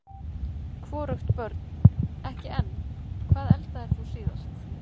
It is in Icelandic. hvorugt Börn: ekki enn Hvað eldaðir þú síðast?